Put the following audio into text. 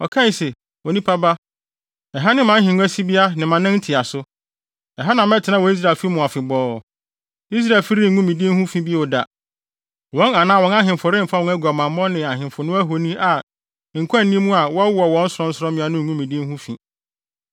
Ɔkae se, “Onipa ba, ɛha ne mʼahengua sibea ne mʼanan ntiaso. Ɛha na mɛtena wɔ Israelfo mu afebɔɔ. Israelfi rengu me din ho fi bio da; wɔn anaa wɔn ahemfo remfa wɔn aguamammɔ ne ahemfo no ahoni a nkwa nni mu a wɔwowɔ wɔn sorɔnsorɔmmea no ngu me din ho fi.